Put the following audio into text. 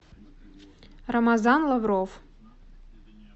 рамазан лавров